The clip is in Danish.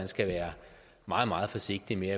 skal være meget meget forsigtig med